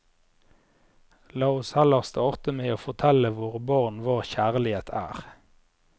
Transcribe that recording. La oss heller starte med å fortelle våre barn hva kjærlighet er.